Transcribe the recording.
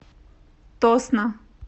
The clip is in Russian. тосно